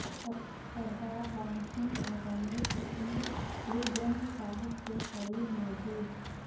سردار رام سنگھ اور رمیشن سنگھ گوروگرنتھ صاحب کے قریب موجود